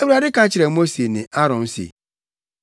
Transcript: Awurade ka kyerɛɛ Mose ne Aaron se,